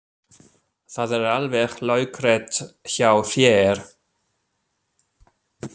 Það er alveg laukrétt hjá þér.